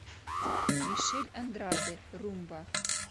мишель андраде румба